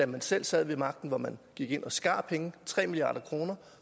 man selv sad ved magten hvor man gik ind og skar nogle penge tre milliard kroner